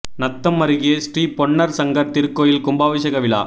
நத்தம் அருகே ஸ்ரீபொன்னர் சங்கர் திருகோயில் கும்பாபிஷேக விழா